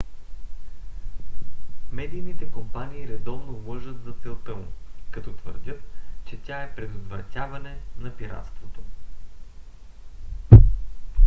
медийните компании редовно лъжат за целта му като твърдят че тя е предотвратяване на пиратството